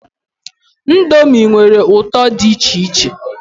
Ndomi nwere ụtọ dị icheiche